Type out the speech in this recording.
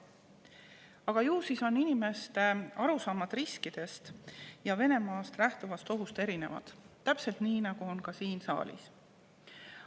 Aga ju siis on inimeste arusaamad riskidest ja Venemaast lähtuvast ohust erinevad, täpselt nii, nagu on ka siin saalis.